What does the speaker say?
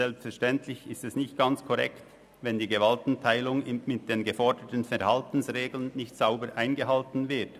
Selbstverständlich ist es nicht ganz korrekt, wenn die Gewaltenteilung mit den geforderten Verhaltensregeln nicht sauber eingehalten wird.